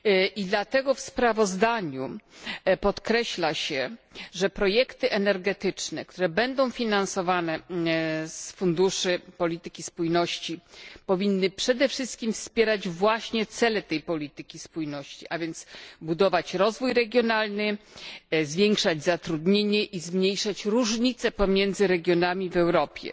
I dlatego w sprawozdaniu podkreśla się, że projekty energetyczne, które będą finansowane z funduszy przeznaczonych na politykę spójności, powinny przede wszystkim wspierać właśnie cele tej polityki spójności, a więc budować rozwój regionalny, zwiększać zatrudnienie i zmniejszać różnice pomiędzy regionami w Europie.